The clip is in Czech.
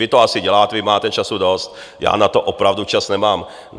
Vy to asi děláte, vy máte času dost, já na to opravdu čas nemám.